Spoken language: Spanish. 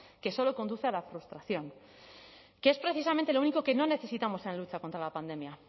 que solo conduce a la frustración que es precisamente lo único que no necesitamos en la lucha contra la pandemia